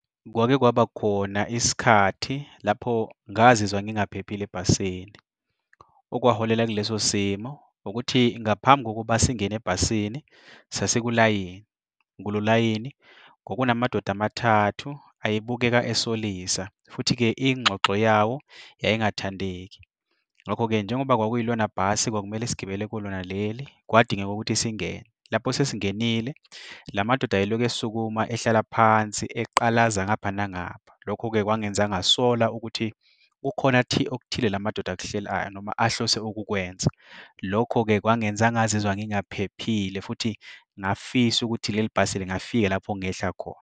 Kwake kwaba khona isikhathi lapho ngazizwa ngingaphephile ebhasini. Okwaholela kuleso simo ukuthi ngaphambi kokuba singene ebhasini sasikulayini, kulo layini kwakunamadoda amathathu ayebukeka esolisa, futhi-ke ingxoxo yawo yayingathandeki. Ngakho-ke, njengoba kwakuyilona bhasi kwakumele sigibele kulona leli kwadingeka ukuthi singene. Lapho sesingenile, la madoda ayeloku esukuma, ehlala phansi eqalaza ngapha nangapha. Lokho-ke kwangenza ngasola ukuthi kukhona okuthile la madoda akuhlelayo noma ahlose ukukwenza. Lokho-ke kwangenza ngazizwa ngingaphephile futhi ngafisa ukuthi leli bhasi lingafika lapho ngehla khona.